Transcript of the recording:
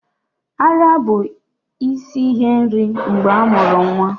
Ara bụ isi ihe nri mgbe amuru nwa